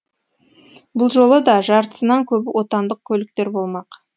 бұл жолы да жартысынан көбі отандық көліктер болмақ